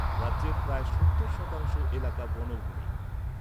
রাজ্যের প্রায় সত্তর শতাংশ এলাকা বনভূমি।